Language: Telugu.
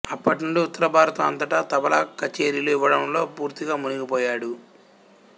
అప్పటి నుండి ఉత్తరభారతం అంతటా తబలా కచేరీలు ఇవ్వడంలో పూర్తిగా మునిగిపోయాడు